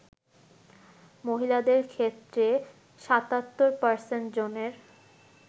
মহিলাদের ক্ষেত্রে ৭৭% জনের